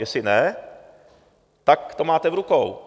Jestli ne, tak to máte v rukou.